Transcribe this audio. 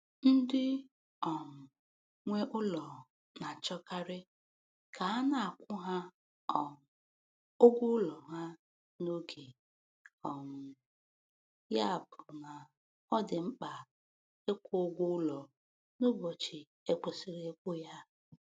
Ndị um nwe ụlọ na-achọkarị ka a na-akwụ ha um ụgwọ ụlọ ha n'oge, um ya bụ na ọ dị mkpa ịkwụ ụgwọ ụlọ n'ụbọchị e kwesiri ịkwụ ya.